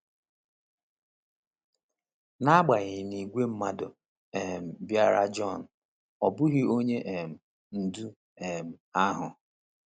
N’agbanyeghị na ìgwè mmadụ um bịara John, ọ bụghị Onye um Ndu um ahụ.